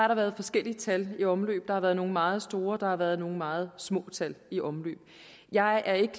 har været forskellige tal i omløb der har været nogle meget store og der har været nogle meget små tal i omløb jeg er ikke